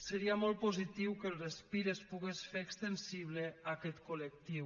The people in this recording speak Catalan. seria molt positiu que el respir es pogués fer extensible a aquest col·lectiu